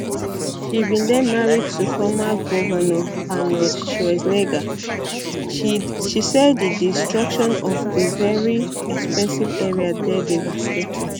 she bin dey married to former govnor arnold schwarzenegger schwarzenegger she say di destruction for di very expensive area dey devastating